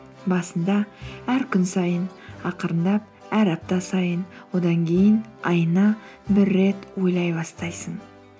басында әр күн сайын ақырындап әр апта сайын одан кейін айына бір рет ойлай бастайсың